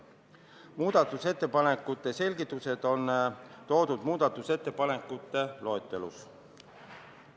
Muudatusettepanekute selgitused on toodud muudatusettepanekute loetelus.